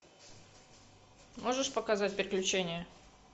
можешь показать приключения